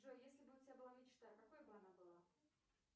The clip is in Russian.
джой если бы у тебя была мечта какой бы она была